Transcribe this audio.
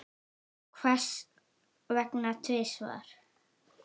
Hvers vegna tvisvar?